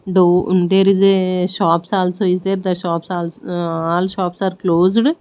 though there is a shops also is there the shops also all shops are closed.